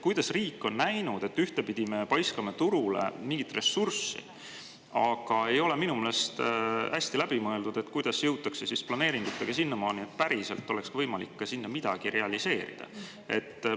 Kuidas riik on näinud seda, et ühtpidi me paiskame turule mingit ressurssi, aga minu meelest ei ole hästi läbi mõeldud, kuidas jõutakse planeeringutega sinnamaani, et päriselt oleks võimalik seal ka midagi realiseerida?